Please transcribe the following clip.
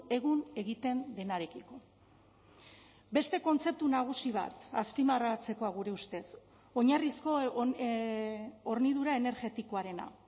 egun egiten denarekiko beste kontzeptu nagusi bat azpimarratzekoa gure ustez oinarrizko hornidura energetikoarena